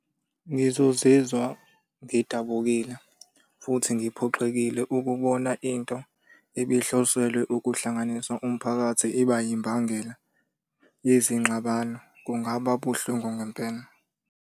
Ngizozizwa ngidabukile futhi ngiphoxekile ukubona into ebihloselwe ukuhlanganisa umphakathi iba yimbangela yezingxabano. Kungaba buhlungu ngempela.